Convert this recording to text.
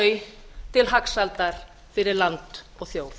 þau til hagsældar fyrir land og þjóð